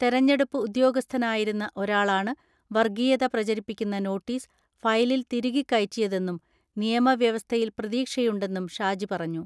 തെരഞ്ഞെടുപ്പ് ഉദ്യോഗസ്ഥനായിരുന്ന ഒരാളാണ് വർഗീയത പ്രചരിപ്പിക്കുന്ന നോട്ടീസ് ഫയലിൽ തിരുകികയറ്റിയതെന്നും നിയമവ്യവസ്ഥയിൽ പ്രതീക്ഷയുണ്ടെന്നും ഷാജി പറഞ്ഞു.